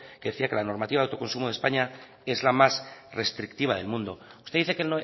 que decía que la normativa de autoconsumo de españa es la más restrictiva del mundo usted dice que